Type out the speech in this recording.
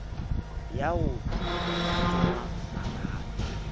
ya ho ya tsoma marabe